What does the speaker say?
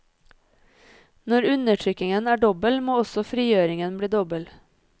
Når undertrykkingen er dobbel, må også frigjøringen bli dobbel.